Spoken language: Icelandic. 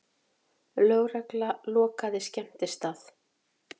Lögregla lokaði skemmtistað